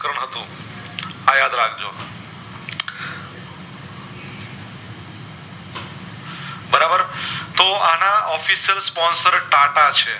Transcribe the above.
બારાબર તો આના Official sponsor Tata છે